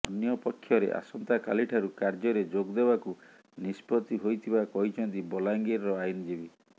ଅନ୍ୟପକ୍ଷରେ ଆସନ୍ତାକାଲିଠାରୁ କାର୍ଯ୍ୟରେ ଯୋଗଦେବାକୁ ନିଷ୍ପତ୍ତି ହୋଇଥିବା କହିଛନ୍ତି ବଲାଙ୍ଗିରର ଆଇନଜୀବୀ